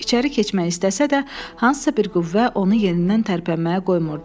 İçəri keçmək istəsə də, hansısa bir qüvvə onu yenidən tərpənməyə qoymurdu.